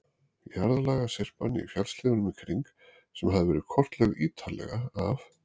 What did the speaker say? Jarðlagasyrpan í fjallshlíðunum í kring, sem hafði verið kortlögð ítarlega af